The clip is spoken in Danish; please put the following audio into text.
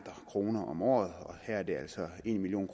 kroner om året og her er der altså en million